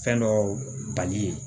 Fɛn dɔw bali ye